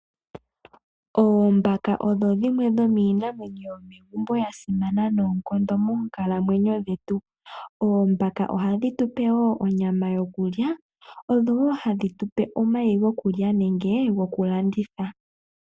Oombaka odho dhimwe dho miinamwenyo yomegumbo yasimana noonkondo monkalamwenyo dhetu. Oimbaka ohadhi tu pe onyama yokulya , ohadhi tu pe woo omayi go kulya nenge go kulanditha.